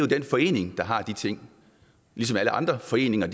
den forening der har de ting ligesom alle andre foreninger